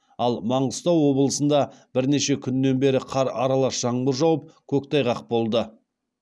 ал маңғыстау облысында бірнеше күннен бері қар аралас жаңбыр жауып көктайғақ болды